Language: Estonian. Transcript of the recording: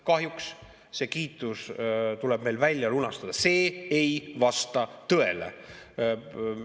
Kahjuks see kiitus tuleb meil alles välja lunastada, see nimelt ei vasta tõele.